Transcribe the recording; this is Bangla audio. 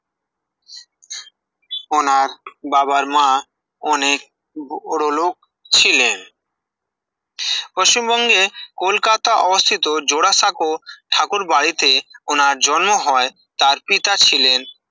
ওনার বাবার মা অনেক বড়লোক ছিলেন পশ্চিমবঙ্গে কলকাতা অবস্থিত জোড়াসাঁকো ঠাকুর বাড়িতে ওনার জন্ম হয় তার পিতা ছিলেন